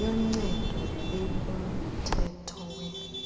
yoncedo ekumthetho we